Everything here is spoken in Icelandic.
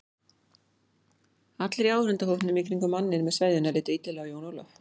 Allir í áhorfendahópnum í kringum manninn með sveðjuna litu illilega á Jón Ólaf.